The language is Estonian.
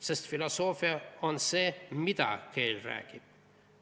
Sest filosoofia on see, mida keel räägib.